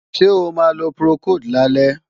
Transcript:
Ṣé o máa lo Procold lálẹ́?